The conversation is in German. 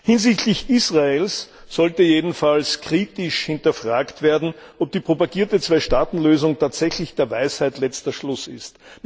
Hinsichtlich Israels sollte jedenfalls kritisch hinterfragt werden, ob die propagierte Zwei Staaten Lösung tatsächlich der Weisheit letzter Schluss ist.